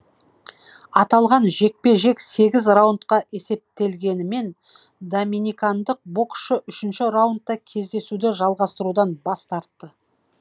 аталған жекпе жек сегіз раундқа есептелгенімен доминикандық боксшы үшінші раундта кездесуді жалғастырудан бас тартты